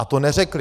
A to neřekli.